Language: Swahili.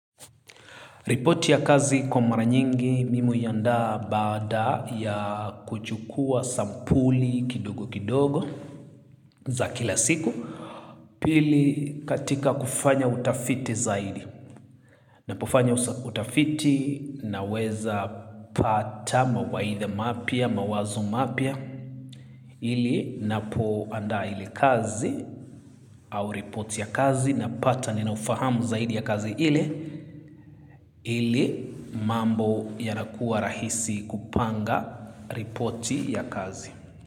Ripoti ya kazi, kwa mara nyingi, mimi huiandaa baada ya kuchukua sampuli kidogokidogo za kila siku. Pili, katika kufanya utafiti zaidi. Napofanya utafiti naweza pata mawaidha mapya, mawazo mapya. Ili napo anda ili kazi au ripoti ya kazi napata ninaufahamu zaidi ya kazi ili. Ile mambo yanakuwa rahisi kupanga ripoti ya kazi.